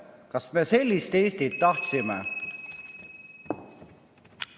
Kas me sellist Eestit tahtsime?